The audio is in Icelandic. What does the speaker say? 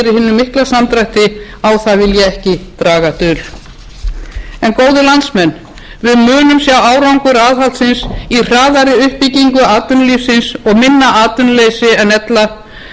mikla samdrætti á það vil ég ekki draga dul en góðir landsmenn við munum sjá árangur aðhaldsins í hraðari uppbyggingu atvinnulífsins og minna atvinnuleysi en ella lægri vöxtum minni verðbólgu og þar